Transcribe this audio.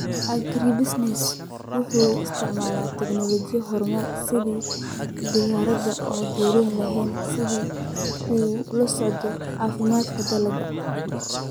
Agribusinesses waxay isticmaalaan tignoolajiyada horumarsan sida diyaaradaha aan duuliyaha lahayn si ay ula socdaan caafimaadka dalagga.